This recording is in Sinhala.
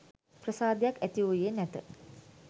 ප්‍රසාදයක් ඇති වූයේ නැත.